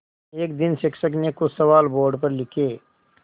एक दिन शिक्षक ने कुछ सवाल बोर्ड पर लिखे